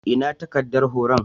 Ina takaddar horon?